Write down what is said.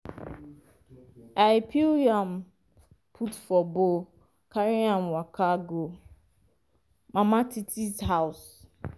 i peel yam put for bowl carry am waka go mama titi house.